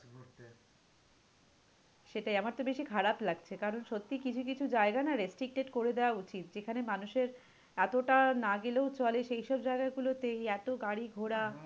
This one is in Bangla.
সেটাই। আমার তো বেশি খারাপ লাগছে। কারণ সত্যিই কিছু কিছু জায়গা না restricted করে দেওয়া উচিত। যেখানে মানুষের এতোটা না গেলেও চলে সেই সব জায়গাগুলোতেই এতো গাড়ি ঘোড়া।